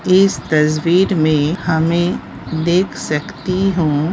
इस तस्वीर मे हमें देख सकती हूँ --